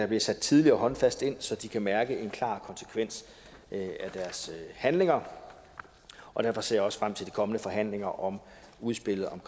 bliver sat tidligt og håndfast ind så de kan mærke en klar konsekvens af deres handlinger og derfor ser jeg også frem til de kommende forhandlinger om udspillet om